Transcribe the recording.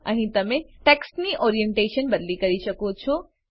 અહીં તમે ટેક્સ્ટની ઓરિએન્ટેશન બદલી કરી શકો છો